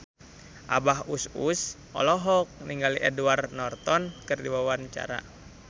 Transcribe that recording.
Abah Us Us olohok ningali Edward Norton keur diwawancara